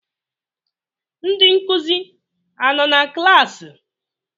Ndị nkụzi anọ na klaasị?